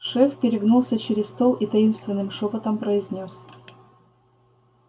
шеф перегнулся через стол и таинственным шёпотом произнёс